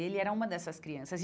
E ele era uma dessas crianças.